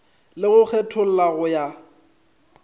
le go kgetholla go ya